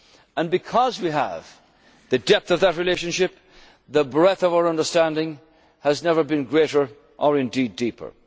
And because we have, the depth of that relationship, the breadth of our understanding has never been greater or indeed